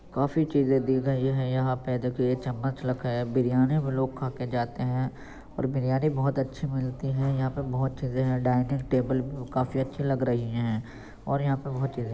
काफी चीज़े दी गयी है यहाँ पे देखिये चम्मच रखा है बिरयानी भी लोग खाके जाते हैं और बिरियानी बोहोत अच्छी मिलती है | यहाँ पे बोहोत चीज़े हैं | डाइनिंग टेबल काफी अच्छी लग रही है और यहाँ पे बोहोत चीज़े हैं |